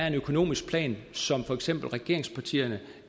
en økonomisk plan som for eksempel regeringspartierne